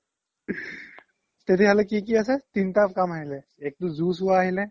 তেতিয়া হ্'লে কি কি আছে তিনিতা কাম আহিলে এক তো zoo চোৱা আহিলে